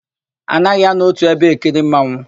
A naghị anọ ótù ebe ekiri mmanwụ.